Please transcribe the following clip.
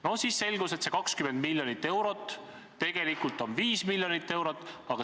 Ent siis selgus, et see 20 miljonit eurot tegelikult on 5 miljonit eurot.